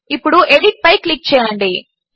ఇప్పుడు ఎడిట్ పై క్లిక్ చేయండి